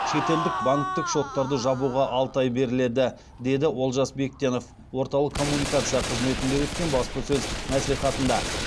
шетелдік банктік шоттарды жабуға алты ай беріледі деді олжас бектенов орталық коммуникация қызметінде өткен баспасөз мәслихатында